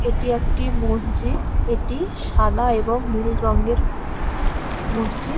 এটি একটি মসজিদ এটি সাদা এবং নীল রঙের মসজিদ ।